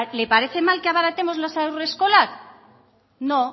le parece mal que abaratemos las haurreskolak no